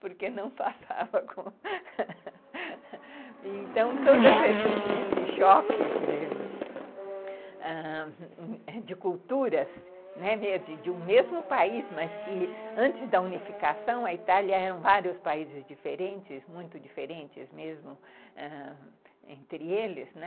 Porque não passava com... Então, todos essas esses choques de culturas de um mesmo país, mas que antes da unificação a Itália eram vários países diferentes, muito diferentes mesmo ãh, entre eles, né?